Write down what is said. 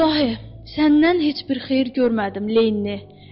İlahi, səndən heç bir xeyir görmədim, Lenni.